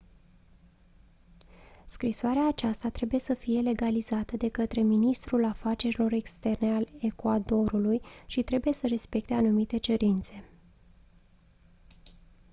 scrisoarea aceasta trebuie să fie legalizată de către ministerul afacerilor externe al ecuadorului și trebuie să respecte anumite cerințe